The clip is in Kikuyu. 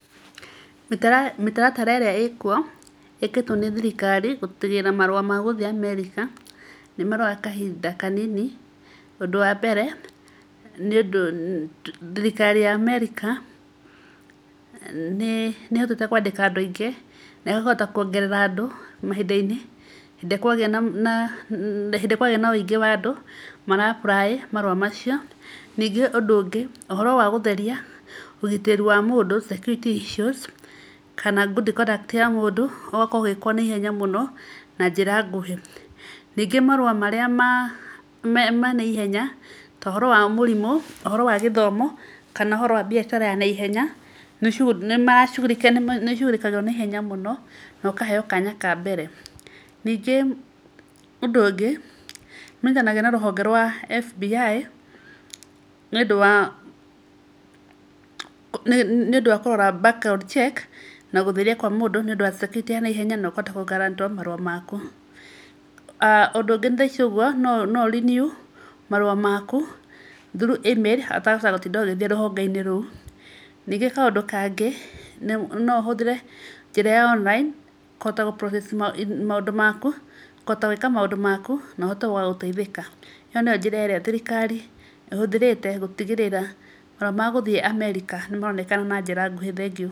Mĩtaratara ĩrĩa ĩkuo, ĩkĩrĩtwo nĩ thirikari gũtigĩrĩra marũa magũthiĩ Amerika nĩ maroya kahinda kanini, ũndũ wambere, nĩ ũndũ thirikari ya Amerika, nĩ ĩhotete kwandĩka andũ aingĩ, na ĩkahota kwongerera andũ mahinda-inĩ, hĩndĩ ĩrĩa kwagĩa na, hĩndĩ ĩrĩa kwagĩa na ũingĩ wa andũ, mara apply marũa macio. Ningĩ ũndũ ũngĩ, ũhoro wa gũtheria ũgitĩri wa mũndũ, security issues, kana good conduct, ya mũndũ ĩgakorwo ĩgĩkwo naihenya mũno, na njĩra nguhĩ, ningĩ marũa marĩa manaihenya, tohoro wa mũrimũ, ũhoro wa gĩthomo, kana ũhoro wa mbiacara ya naihenya, nĩicugurĩkagĩrwo naihenya mũno, nokaheyo kanya kambere. Ningĩ ũndũ ũngĩ, nĩmanyitanagĩra na rũhonge rwa FBI, nĩũndũ wa, nĩũndũ wa kũrora back ground check, na gũtheria kwa mũndũ, nĩũndũ wa security ya naihenya, na ũkahota kũ grant wo marũa maku. Ũndũ ũngĩ thaici ũguo, noũ renew marũa maku, through email, ũtegũbatara gũtinda ũgĩthiĩ rũhonge-inĩ rũu. Ningĩ kaũndũ kangĩ, nohũthĩre njĩra ya online, kũhota gũ process maũndũ maku, kũhota gũĩka maũndũ maku, nohote gũgagũteithĩka. Ĩyo nĩyo njĩra ĩrĩa thirikari ĩhũthĩrĩte gũtigĩrĩra marũa ma gũthiĩ Amerika nĩmaronekana na njĩra nguhĩ, thengiũ.